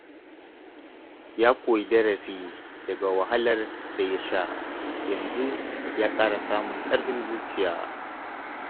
Ya koyi darasi daga wahalar da ya sha, yanzu ya ƙara samun ƙarfin zuciya.